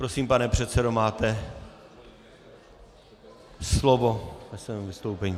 Prosím, pane předsedo, máte slovo ke svému vystoupení.